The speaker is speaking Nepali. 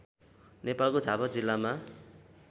नेपालको झापा जिल्लामा